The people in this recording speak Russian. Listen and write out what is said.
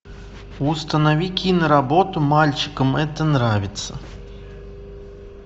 установи киноработу мальчикам это нравится